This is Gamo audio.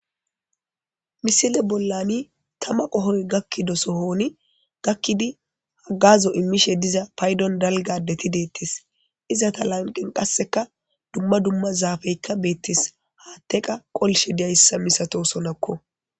Misile bollani thama qohoy gakkido sohooni gakkidi haggazo immishee diza paydon dalgga addethi deeththees; izatha lanqqen qassikka dumma dumma zaafeekka beeththees; haaththe qa qolishe diyassa misathoosonakko.